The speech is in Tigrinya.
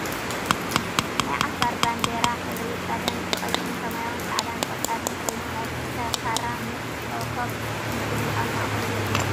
ናይ ዓፋር ባንዲራ ሕብሪ ቀለም ብቀይሕን ሰማያዊን ፃዕዳን ቆፃልን ኮይኑ ናይ ክልተ ካራ ምስ ኮኮብ ምስሊ ኣብ ማእከሉ ዘለዎ እዩ ።